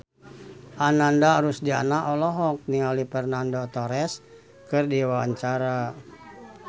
Ananda Rusdiana olohok ningali Fernando Torres keur diwawancara